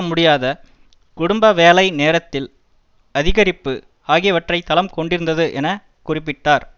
முடியாத குடும்ப வேலை நேரத்தில் அதிகரிப்பு ஆகியவற்றை தளம் கொண்டிருந்தது என குறிப்பிட்டார்